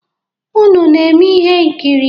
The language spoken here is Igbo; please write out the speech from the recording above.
Unu na-eme ihe nkiri?